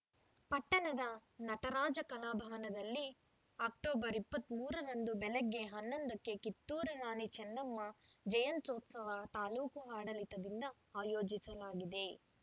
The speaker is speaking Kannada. ಪಟ್ಟಣದ ನಟರಾಜ ಕಲಾಭವನದಲ್ಲಿ ಅಕ್ಟೋಬರ್ ಇಪ್ಪತ್ತ್ ಮೂರರಂದು ಬೆಳಗ್ಗೆ ಹನ್ನೊಂದಕ್ಕೆ ಕಿತ್ತೂರು ರಾಣಿ ಚೆನ್ನಮ್ಮ ಜಯಂತ್ಯೋತ್ಸವ ತಾಲೂಕು ಆಡಳಿತದಿಂದ ಆಯೋಜಿಸಲಾಗಿದೆ